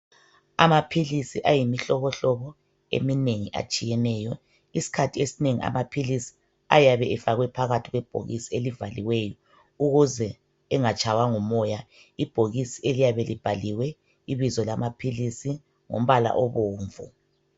Amaphilisi ayimihlobohlobo eminengi atshiyeneyo. Iskhathi esinengi amaphilisi ayabe efakwe phakathi kwebhokisi elivaliweyo ukuze engatshaywa ngumoya. Ibhokisi eliyabe libhaliwe ibizo lamaphilisi ngombala obomvu.